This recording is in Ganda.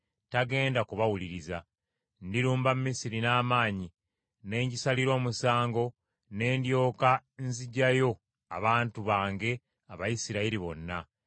tagenda kubawuliriza. Ndirumba Misiri n’amaanyi, ne ngisalira omusango, ne ndyoka nzigyayo abantu bange Abayisirayiri bonna.